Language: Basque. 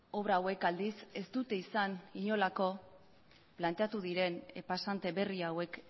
obra hauek aldiz ez dute izan inolako planteatu diren pasante berri hauek